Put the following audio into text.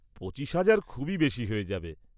পঁচিশ হাজার খুবই বেশি হয়ে যাবে।